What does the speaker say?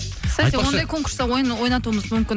ондай конкурста ойын ойнатуымыз мүмкін